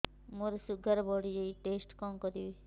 ମୋର ଶୁଗାର ବଢିଯାଇଛି ଟେଷ୍ଟ କଣ କରିବି